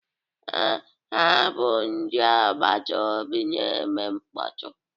Ee, ha bụ ndị agbata obi na-eme mkpọtụ